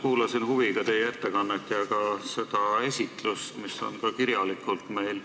Kuulasin huviga teie ettekannet ja vaatasin ka seda materjali, mis on meil kirjalikult olemas.